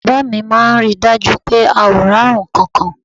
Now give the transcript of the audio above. Bàbá mi máa ń rí i dájú pé a ò rárùn ǹkankan